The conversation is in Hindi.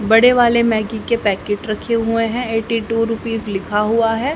बड़े वाले मैगी के पैकेट रखे हुए हैं एटी टू रूपीस लिखा हुआ है।